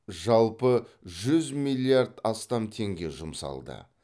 жалпы жүз миллиард астам теңге жұмсалды